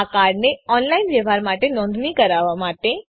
આ કાર્ડને ઓનલાઈન વ્યવહાર માટે નોંધણી કરાવવા માટે